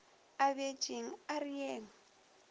a bjetšeng a re yeng